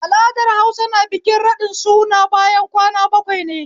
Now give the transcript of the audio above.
Al'adar Hausa na bikin raɗin suna bayan kwana bakwai ne